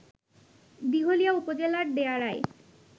দিঘলিয়া উপজেলার দেয়াড়ায়